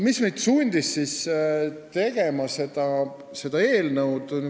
Mis meid sundis seda eelnõu tegema?